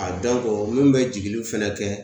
A dɔnko mun be jigiliw fɛnɛ kɛ